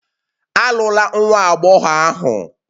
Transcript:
Alụla nwa agbọghọ ahụ!